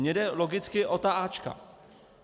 Mně jde logicky o ta áčka.